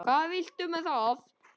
Og hvað viltu með það?